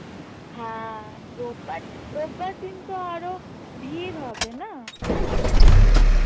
হ্যাঁ রোববার রোববার দিনতো আরও ভীড় হবে না?